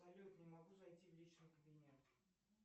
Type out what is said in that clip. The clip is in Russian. салют не могу зайти в личный кабинет